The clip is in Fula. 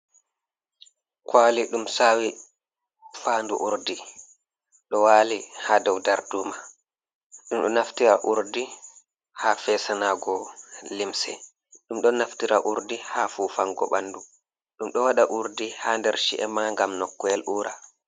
Kwali ɗum sawi fandu urdi, ɗo wali ha dow darduma ɗum ɗo naftira urdi ha fesanago limse, ɗum ɗo naftira urdi ha fufango ɓandu, ɗum ɗo waɗa urdi ha nder chi’e ma ngam noku’el ura.